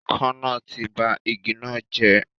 Ikán náà ti ba igi náà jẹ́